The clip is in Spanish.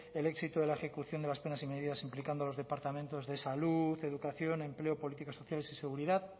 el éxito de la ejecución de las penas y medidas implicando a los departamentos de salud educación empleo políticas sociales y seguridad